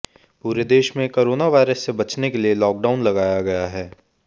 पूरे देश में कोरोना वायरस से बचने के लिए लॉकडाउन लगाया गया है